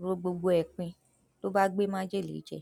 ro gbogbo ẹ pin ló bá gbé májèlé jẹ